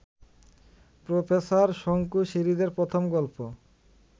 professor Shonku সিরিজের প্রথম গল্প